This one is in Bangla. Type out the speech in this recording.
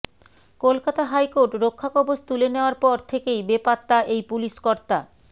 কলকাতা হাইকোর্ট রক্ষাকবজ তুলে নেওয়ার পর থেকেই বেপাত্তা এই পুলিশকর্তা